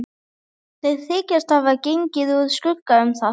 Þeir þykjast hafa gengið úr skugga um það.